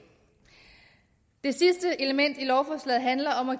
det sidste element i lovforslaget handler om at